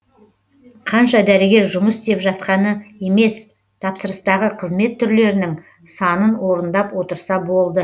қанша дәрігер жұмыс істеп жатқаны емес тапсырыстағы қызмет түрлерінің санын орындап отырса болды